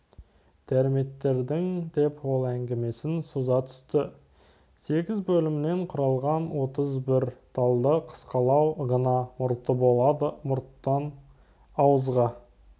термиттердің деп ол әңгімесін соза түсті сегіз бөлімнен құралған отыз бір талды қысқалау ғана мұрты болады мұрттың ауызға